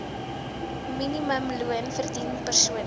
minimumloon verdien persone